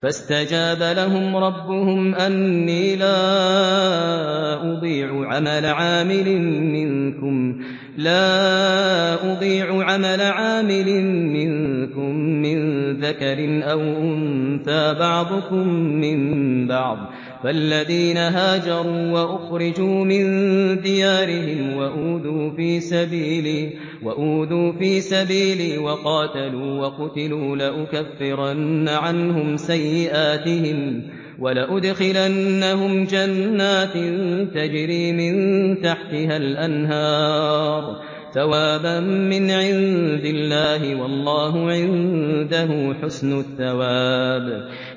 فَاسْتَجَابَ لَهُمْ رَبُّهُمْ أَنِّي لَا أُضِيعُ عَمَلَ عَامِلٍ مِّنكُم مِّن ذَكَرٍ أَوْ أُنثَىٰ ۖ بَعْضُكُم مِّن بَعْضٍ ۖ فَالَّذِينَ هَاجَرُوا وَأُخْرِجُوا مِن دِيَارِهِمْ وَأُوذُوا فِي سَبِيلِي وَقَاتَلُوا وَقُتِلُوا لَأُكَفِّرَنَّ عَنْهُمْ سَيِّئَاتِهِمْ وَلَأُدْخِلَنَّهُمْ جَنَّاتٍ تَجْرِي مِن تَحْتِهَا الْأَنْهَارُ ثَوَابًا مِّنْ عِندِ اللَّهِ ۗ وَاللَّهُ عِندَهُ حُسْنُ الثَّوَابِ